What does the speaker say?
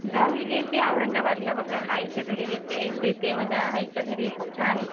गावी गेलती औरंगाबादला आईला बघायला, शेती म्हणजे आईच्या घरी खूप छान.